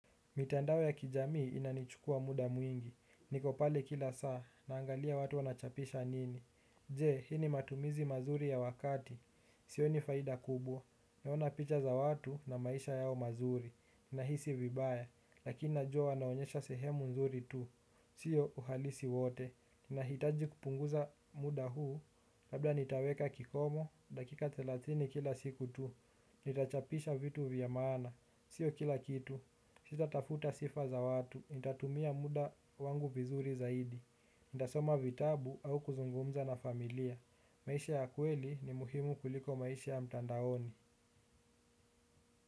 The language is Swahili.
Mitandao ya kijamii inanichukuwa muda mwingi. Niko pale kila saa, naangalia watu wanachapisha nini. Je, hii matumizi mazuri ya wakati. Sioni faida kubwa. Naona picha za watu na maisha yao mazuri. Nahisi vibaya, lakini najuwa wanaonyesha sehemu nzuri tu. Sio uhalisi wote. Ninahitaji kupunguza muda huu, labda nitaweka kikomo, dakika thelathini kila siku tu. Nitachapisha vitu vya maana. Sio kila kitu. Sita tafuta sifa za watu, nitatumia muda wangu vizuri zaidi, nitasoma vitabu au kuzungumza na familia. Maisha ya kweli ni muhimu kuliko maisha ya mtandaoni.